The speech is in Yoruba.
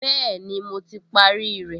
Bẹ́ẹ̀ni, mo ti parí rẹ̀